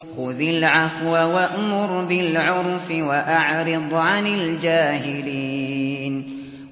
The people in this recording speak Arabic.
خُذِ الْعَفْوَ وَأْمُرْ بِالْعُرْفِ وَأَعْرِضْ عَنِ الْجَاهِلِينَ